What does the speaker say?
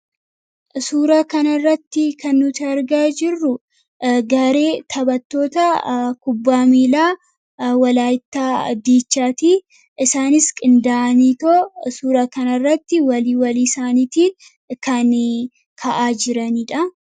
Suura kanarratti kannuti argaa jirru gaaree taphatoota kubbaa miilaa walaayitaa diichaatii isaanis qinda'aniitoo suura kan irratti walii walii isaaniitiin kan ka'aa jiraniidha.